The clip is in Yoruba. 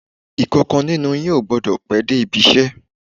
Ìkankan nínú yín ò gbọ́dọ̀ pẹ́ dé ibi iṣẹ́